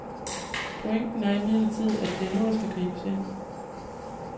Pointen er imidlertid, at det er nu der skal gribes ind.